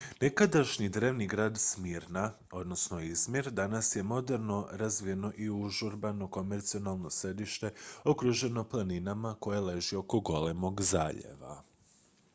nekadašnji drevni grad smirna izmir danas je moderno razvijeno i užurbano komercijalno središte okruženo planinama koje leži oko golemog zaljeva